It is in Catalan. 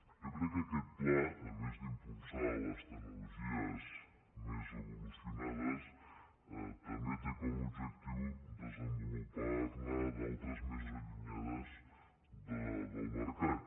jo crec que aquest pla a més d’impulsar les tecnologies més evolucionades també té com a objectiu desenvo·lupar·ne d’altres de més allunyades del mercat